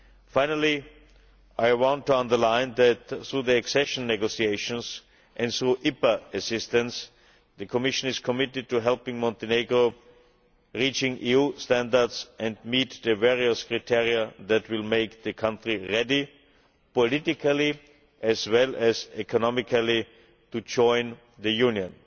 Finally, I want to underline that, through the accession negotiations, and through IPA assistance, the Commission is committed to helping Montenegro reach new standards and meet the various criteria that will make the country ready politically, as well as economically, to join the Union.